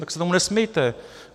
Tak se tomu nesmějte.